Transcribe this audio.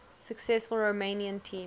successful romanian team